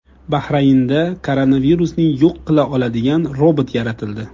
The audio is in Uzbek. Bahraynda koronavirusni yo‘q qila oladigan robot yaratildi.